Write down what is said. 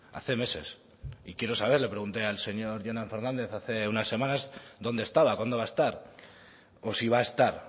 hace meses y quiero saber le pregunté al señor jonan fernández hace unas semanas dónde estaba cuándo va a estar o si va a estar